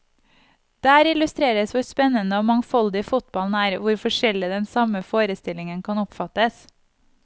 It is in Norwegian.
Der illustreres hvor spennende og mangfoldig fotballen er, hvor forskjellig den samme forestillingen kan oppfattes.